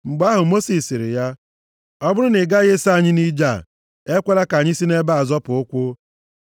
Mgbe ahụ Mosis sịrị ya, “Ọ bụrụ na ị gaghị eso anyị nʼije a, ekwela ka anyị si nʼebe a zọpụ ụkwụ.